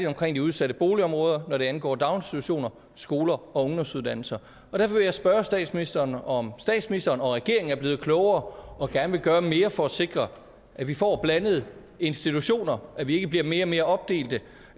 omkring de udsatte boligområder hvad angår daginstitutioner og skoler og ungdomsuddannelser derfor vil jeg spørge statsministeren om statsministeren og regeringen er blevet klogere og gerne vil gøre mere for at sikre at vi får blandede institutioner og at vi ikke bliver mere og mere opdelte